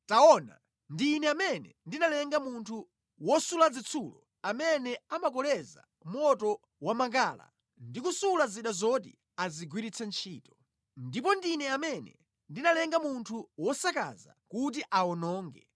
“Taona, ndi Ine amene ndinalenga munthu wosula zitsulo amene amakoleza moto wamakala ndi kusula zida zoti azigwiritse ntchito. Ndipo ndine amene ndinalenga munthu wosakaza kuti awononge;